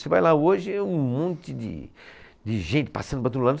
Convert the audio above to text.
Você vai lá hoje e é um monte de, de gente passando para todo lado.